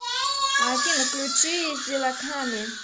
афина включи зиллаками